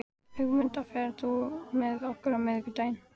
Ögmunda, ferð þú með okkur á miðvikudaginn?